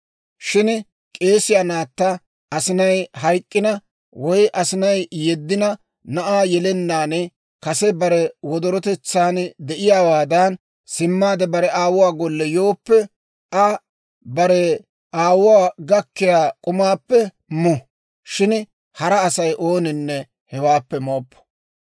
Shin k'eesiyaa naatta asinay hayk'k'ina, woy asinay yeddina, na'aa yelennaan kase bare wodorotetsaan de'iyaawaadan simmaade bare aawuwaa golle yooppe, Aa bare aawuwaa gakkiyaa k'umaappe mu. Shin hara Asay ooninne hewaappe mooppo.